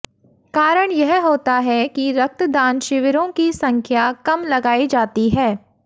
कारण यह होता है कि रक्तदान शिविरों की संख्या कम लगाई जाती है